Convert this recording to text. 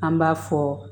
An b'a fɔ